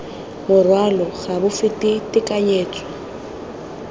morwalo ga bo fete tekanyetso